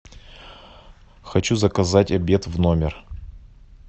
хочу заказать обед в номер